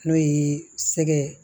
N'o ye sɛgɛ